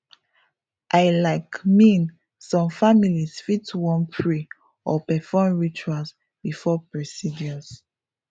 i laik mean some families fit wan pray or perform rituals before procedures